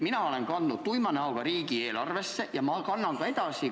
Mina olen kandnud raha tuima näoga riigieelarvesse ja kannan ka edaspidi.